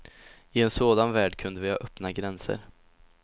I en sådan värld kunde vi ha öppna gränser.